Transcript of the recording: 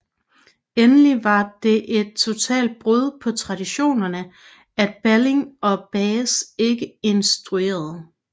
Endelig var det et totalt brud på traditionerne at Balling og Bahs ikke instruerede